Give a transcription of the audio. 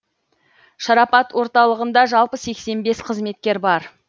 шарапат орталығында жалпы сеексен бес қызметкер бар